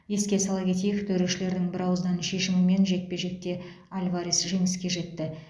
еске сала кетейік төрешілердің бірауыздан шешімімен жекпе жекте альварес жеңіске жетті